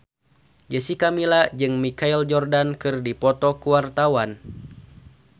Jessica Milla jeung Michael Jordan keur dipoto ku wartawan